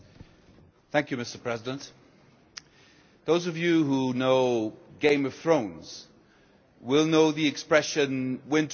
Mr President, those of you who know Game of Thrones will know the expression winter is coming'.